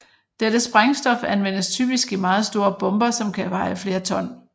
Dette sprængstof anvendes typisk i meget store bomber som kan veje flere ton